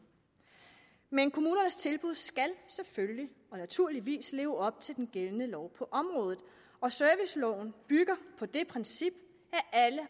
men kommunernes tilbud skal selvfølgelig naturligvis leve op til den gældende lov på området og serviceloven bygger på det princip